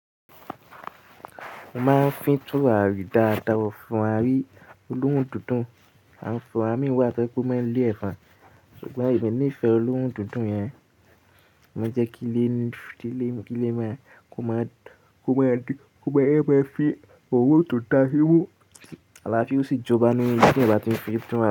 Mo máa ń fín túràrí dáadáa, turarí olóhùn dídùn. Àn fún àmì wá pé kó máa lé ẹ̀fà. Ṣùgbọ́n èmi nífẹ̀ẹ́ olóhùn dídùn yẹn, mo jẹ́ kí lé ní, tí lé, kí lé máa, kó máa, kó máa, kó máa, ẹ máa fi òrún tó dara simu. Alàáfí ò sì jọba nínú, ti ẹ̀bà tí ń fi túrare.